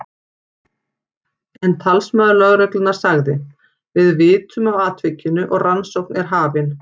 En talsmaður lögreglunnar sagði: Við vitum af atvikinu og rannsókn er hafin.